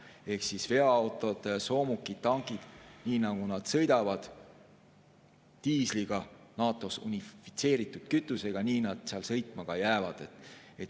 Ehk nii nagu veoautod, soomukid, tankid sõidavad diisliga, NATO‑s unifitseeritud kütusega, nii nad sõitma jäävad.